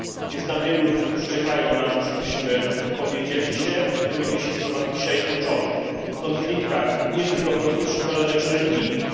Jest tam wielu ludzi, którzy czekają na to, żebyśmy wypowiedzieli się, wypowiedzieli się w sprawach dzisiaj kluczowych konfliktach nie tylko politycznych, ale także religijnych.